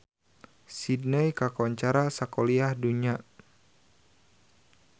Sydney kakoncara sakuliah dunya